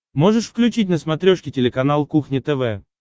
можешь включить на смотрешке телеканал кухня тв